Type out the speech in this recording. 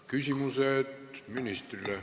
Küsimused ministrile.